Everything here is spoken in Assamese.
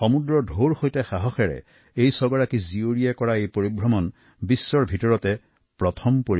সমুদ্ৰৰ ঢৌৰ মাজত কটাবলগীয়া আমাৰ এই সাহসী ছগৰাকী কন্যাই হৈছে বিশ্বৰ প্ৰথম